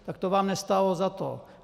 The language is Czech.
Tak to vám nestálo za to.